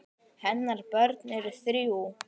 Hennar börn eru þrjú.